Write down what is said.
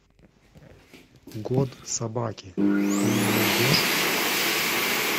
год собаки ты мне найдешь